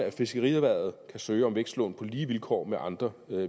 i fiskerierhvervet kan søge om vækstlån på lige vilkår med andre